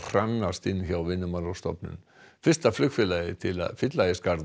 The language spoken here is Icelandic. hrannast inn hjá Vinnumálastofnun fyrsta flugfélagið til að fylla í skarð